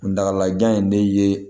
Kuntalajan in de ye